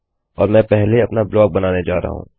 और मैं पहले अपना ब्लाक बनाने जा रहा हूँ